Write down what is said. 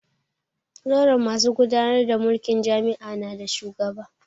Zauren masu gudanar da mulkin jami'a na da shugaba